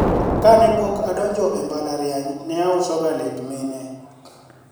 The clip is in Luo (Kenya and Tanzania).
kapok ne adonjo e mbalariany, ne auso ga lep mine